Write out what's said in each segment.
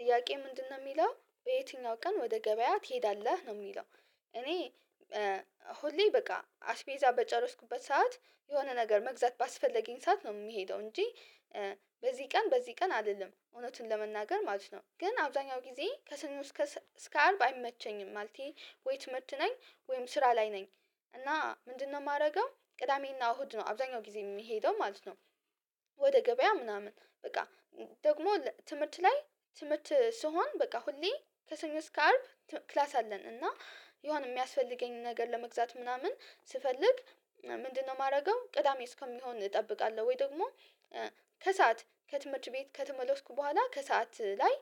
ጥያቄ ምንድነው የሚለው የትኛው ቀን ወደ ገበያ ትሄዳለህ? ነው የሚለው እኔ ሁሌ በቃ አስቤዛ በጨረስኩበት ሰዓት የሆነ ነገር መግዛት ባስፈለገኝ ሰዓት ነው የምሄደው እንጂ በዚህ ቀን በዚህ ቀን አልልም እውነቱን ለመናገር ማለት ነው ግን አብዛኛው ጊዜ ከሰኞ እስከ እስከ አርብ አይመቸኝም ማለቴ ወይ ትምህርት ነኝ ወይም ስራ ላይ ነኝ እና ምንድነው የማደርገው ቅዳሜና እሁድ ነው አብዛኛው ጊዜ የሚሄደው ማለት ነው ወደ ገበያ ምናምን በቃ ደግሞ ትምህርት ላይ ትምህርት ስሆን በቃ ሁሌ ከሰኞ እስከ አርብ ክላስ አለን እና የሆነ የሚያስፈልገኝን ነገር ለመግዛት ምናምን ስፈልግ ምንድነው የማደርገው ቅዳሜ እስከሚሆን እጠብቃለሁ ወይ ደግሞ ከሰአት ከትምህርት ቤት ከተመለስኩ በኋላ ከሰአት ላይ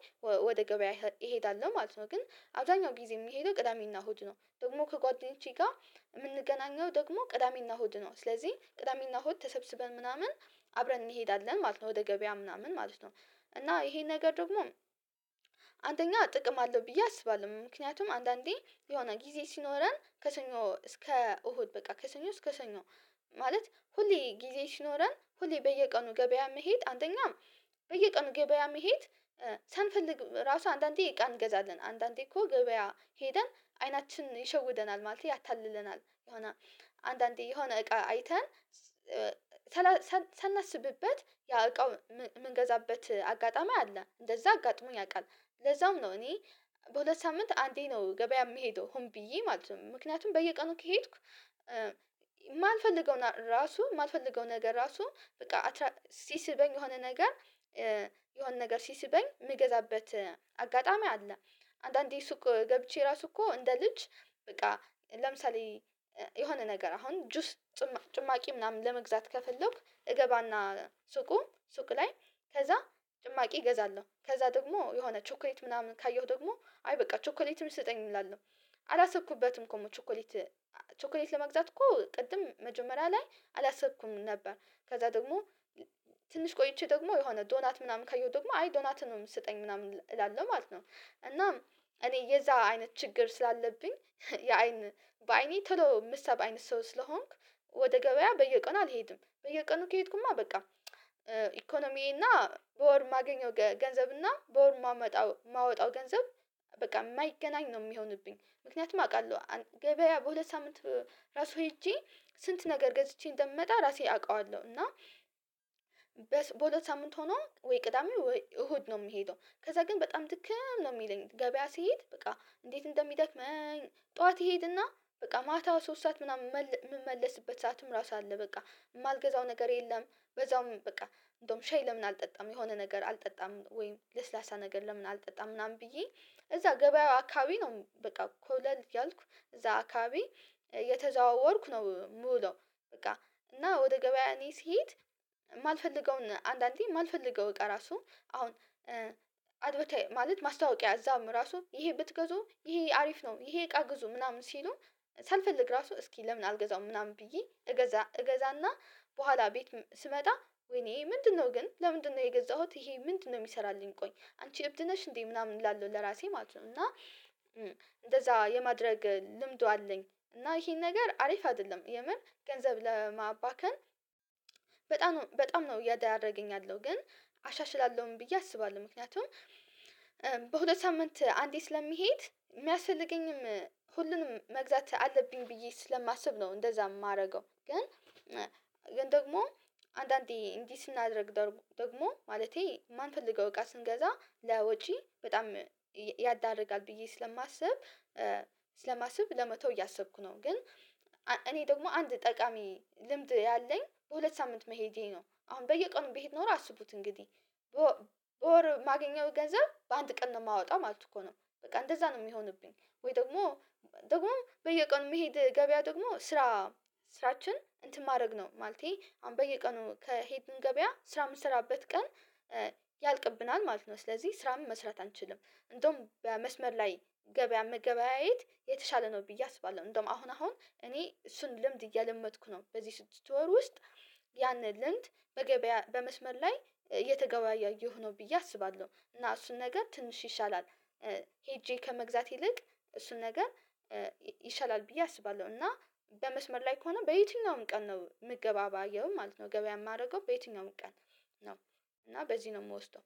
ወደ ገበያ እሄዳለሁ ነው ማለት ነው ግን አብዛኛው ጊዜ የምሄደው ቅዳሜና እሁድ ነው ደግሞ ከጓደኞቼ ጋር የምንገናኘው ደግሞ ቅዳሜና እሁድ ነው ስለዚህ ቅዳሜና እሁድ ተሰብስበን ምናምን አብረን እንሄዳለን ማለት ነው ወደ ገበያ ምናምን ማለት ነው እና ይሄን ነገር ደግሞ አንደኛ ጥቅም አለው ብዬ አስባለሁ ምክንያቱም አንዳንዴ የሆነ ጊዜ ሲኖረን ከሰኞ እስከ እሁድ በቃ ከሰኞ እስከ ሰኞ ማለት ሁሌ ጊዜ ሲኖረን ሁሌ በየቀኑ ገበያ መሄድ አንደኛ በየቀኑ ገበያ መሄድ ሳንፈልግ ራሱ አንዳንዴ እቃ እንገዛለን አንዳንዴ እኮ ገበያ ሄደን አይናችን ይሸውደናል ማለቴ ያታልለናል የሆነ አንዳንዴ የሆነ እቃ አይተን ሳናስብበት ያ እቃው የምንገዛበት አጋጣሚ አለ እንደዛ አጋጥሞኝ ያውቃል ለዛም ነው እኔ በሁለት ሳምንት አንዴ ነው ገበያ የምሄደው ሆን ብዬ ማለት ነው ምክንያቱም በየቀኑ ከሄድኩ የማልፈልገውን ራሱ የማልፈልገውን ነገር ራሱ በቃ ሲስበኝ የሆነ ነገር ሲስበኝ የምገዛበት አጋጣሚ አለ አንዳንዴ ሱቅ ገብቼ ራሱ እኮ እንደ ልጅ በቃ ለምሳሌ የሆነ ነገር አሁን ጁስ ጭማቂ ምናምን ለመግዛት ከፈለኩ እገባና ሱቁ ሱቅ ላይ ከዛ ጭማቂ እገዛለሁ ከዛ ደግሞ የሆነ ቾኮሌት ምናምን ካየሁ ደግሞ አይ በቃ ቾኮሌትም ስጠኝ እላለሁ አላሰብኩበትም እኮ ቾኮሌት ቾኮሌት ለመግዛት እኮ ቅድም መጀመሪያ ላይ አላሰብኩም ነበር ከዛ ደግሞ ትንሽ ቆይቼ ደግሞ የሆነ ዶናት ምናምን ካየው ደግሞ አይ ዶናቱንም ስጠኝ ምናምን እላለሁ ማለት ነው እናም እኔ የዛ አይነት ችግር ስላለብኝ የአይን በአይኔ ቶሎ የምሳብ አይነት ሰው ስለሆንኩ ወደ ገበያ በየቀኑ አልሄድም በየቀኑ ከሄድኩማ በቃ ኢኮኖሚዬና በወር የማገኘው ገንዘብና በወር የማወጣው ገንዘብ በቃ የማይገናኝ ነው የሚሆንብኝ ምክንያቱም አውቃለሁ ገበያ በሁለት ሳምንት ራሱ ሄጄ ስንት ነገር ገዝቼ እንደምመጣ ራሴ አውቀዋለሁ እና በሁለት ሳምንት ሆኖ ወይ ቅዳሜ ወይ እሁድ ነው የምሄደው ከዛ ግን በጣም ድክም ነው የሚለኝ ገበያ ስሄድ በቃ እንዴት እንደሚደክመኝ ጠዋት እሄድና በቃ ማታ ሶስት ሰዓት ምናምን የምመለስበት ሰዓትም ራሱ አለ በቃ የማልገዛው ነገር የለም በዛውም በቃ እንደውም ሻይ ለምን አልጠጣም የሆነ ነገር አልጠጣም ወይም ለስላሳ ነገር ለምን አልጠጣም ምናምን ብዬ እዛ ገበያው አካባቢ ነው በቃ ኮብለል እያልኩ እዛ አካባቢ እየተዘዋወርኩ ነው የምውለው በቃ እና ወደ ገበያ እኔ ስሄድ የማልፈልገውን አንዳንዴ ማልፈልገው እቃ ራሱ አሁን አድቨርታይዝ ማለት ማስታወቂያ እዛም ራሱ ይሄ ብትገዙ ይሄ አሪፍ ነው ይሄ እቃ ግዙ ምናምን ሲሉ ሳልፈልግ ራሱ እስኪ ለምን አልገዛውም ምናምን ብዬ እገዛ እገዛና በኋላ ቤት ስመጣ ወይኔ ምንድነው ግን ለምንድነው የገዛሁት ይሄ ምንድነው የሚሰራልኝ ቆይ አንቺ እብድ ነሽ እንዴ ምናምን እላለሁ ለራሴ ማለት ነው እና እንደዛ የማድረግ ልምዱ አለኝ እና ይሄን ነገር አሪፍ አይደለም የምር ገንዘብ ለማባከን በጣም በጣም ነው እየዳረገኝ ያለው ግን አሻሽላለሁኝ ብዬ አስባለሁ ምክንያቱም በሁለት ሳምንት አንዴ ስለሚሄድ የሚያስፈልገኝም ሁሉንም መግዛት አለብኝ ብዬ ስለማስብ ነው እንደዛ የማደርገው ግን ግን ደግሞ አንዳንዴ እንዲህ ስናደርግ ደግሞ ማለቴ ማንፈልገው እቃ ስንገዛ ለወጪ በጣም ያዳርጋል ብዬ ስለማስብ ስለማስብ ለመተው እያሰብኩ ነው ግን እኔ ደግሞ አንድ ጠቃሚ ልምድ ያለኝ ሁለት ሳምንት መሄዴ ነው አሁን በየቀኑ ቢሄድ ኖሮ አስቡት እንግዲህ በወር ማገኘው ገንዘብ በአንድ ቀን ነው የማወጣው ማለት እኮ ነው በቃ እንደዛ ነው የሚሆንብኝ ወይ ደግሞ ደግሞ በየቀኑ የምሄድ ገበያ ደግሞ ስራ ስራችን እንትን ማድረግ ነው ማለቴ አሁን በየቀኑ ከሄድኩኝ ገበያ ስራ የምሰራበት ቀን ያልቅብናል ማለት ነው ስለዚህ ስራም መስራት አንችልም እንደውም በመስመር ላይ ገበያ መገበያየት የተሻለ ነው ብዬ አስባለሁ እንደውም አሁን አሁን እኔ እሱን ልምድ እየለመድኩ ነው በዚህ ስድስት ወር ውስጥ ያንን ልምድ በመስመር ላይ እየተገበያየሁ ነው ብዬ አስባለሁ እና እሱን ነገር ትንሽ ይሻላል ሄጄ ከመግዛት ይልቅ እሱን ነገር ይሻላል ብዬ አስባለሁ እና በመስመር ላይ ከሆነ በየትኛውም ቀን ነው ምገባባየው ማለት ነው ገበያ የማደርገው በየትኛውም ቀን ነው እና በዚህ ነው የምወስደው